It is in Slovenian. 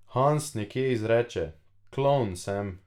Hans nekje izreče: "Klovn sem.